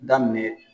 Daminɛ